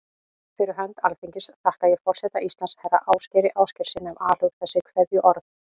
Fyrir hönd Alþingis þakka ég forseta Íslands, herra Ásgeiri Ásgeirssyni, af alhug þessi kveðjuorð.